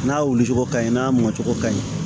N'a wulicogo ka ɲi n'a mɔcogo ka ɲi